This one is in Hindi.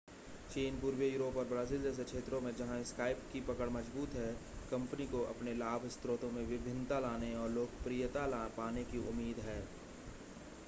चीन पूर्वी यूरोप और ब्राज़ील जैसे क्षेत्रों में जहां स्काइप की पकड़ मज़बूत है कंपनी को अपने लाभ स्रोतों में विभिन्नता लाने और लोकप्रियता पाने की उम्मीद है